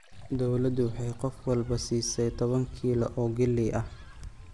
Dawladdu waxay qof walba siisay toban kiilo oo galley ah.